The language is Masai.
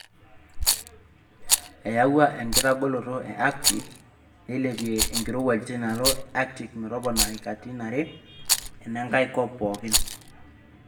Eyau enkitagoloto e Arctic, nailepie enkirowuaj teinaalo e Atctic metoponari katitin are enenkae kop pookin.